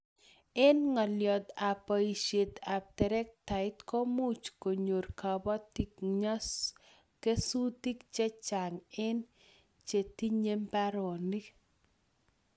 Eng' ngalyot ab boishet ab trektait ko much konyor kabatik kesutik chechang eng' che tinye mbaronik